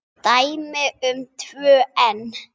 Dæmi um tvö enn